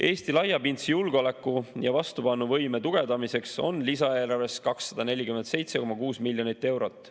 Eesti laiapindse julgeoleku ja vastupanuvõime tugevdamiseks on lisaeelarves 247,6 miljonit eurot.